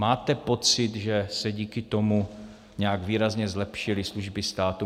Máte pocit, že se díky tomu nějak výrazně zlepšily služby státu?